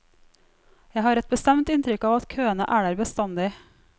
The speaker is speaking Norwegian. Jeg har et bestemt inntrykk av at køene er der bestandig.